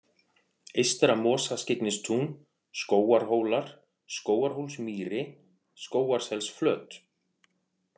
Eystra-Mosaskyggnistún, Skógarhólar, Skógarhólsmýri, Skógarselsflöt